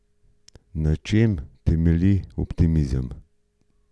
Na čem temelji optimizem?